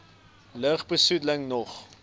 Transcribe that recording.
lug besoedeling nog